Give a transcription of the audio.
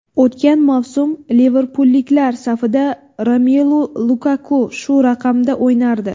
O‘tgan mavsum liverpulliklar safida Romelu Lukaku shu raqamda o‘ynardi.